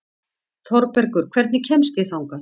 Þorbergur, hvernig kemst ég þangað?